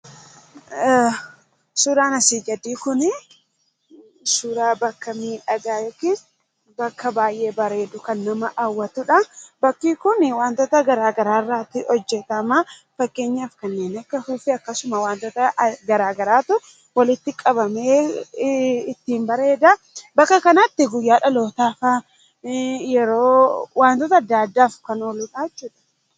Suuraan asii gadii kun suuraa bakka miidhagaa yookiin bakka baay'ee miidhagu kan bareedu kan nama hawwatudha. Bakki wantoota garaagaraa irraa hojjatama. Fakkeenyaaf kanneen akka afuuffee garaagaraatu walitti qabamee ittiin bareeda. Bakka kanatti guyyaa dhalootaa faa wantoota adda addaaf kan ooludha jechuudha.